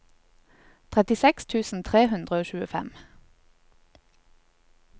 trettiseks tusen tre hundre og tjuefem